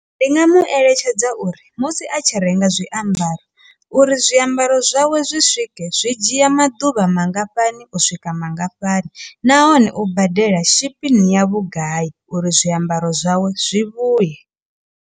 Ndi nga mu eletshedza uri musi a tshi renga zwiambaro uri zwiambaro zwawe zwi swike zwi dzhia maḓuvha mangafhani u swika mangafhani nahone u badela shapping ya vhugai uri zwiambaro zwawe zwi vhuye.